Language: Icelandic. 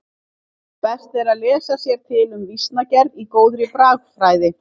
Best er að lesa sér til um vísnagerð í góðri bragfræði.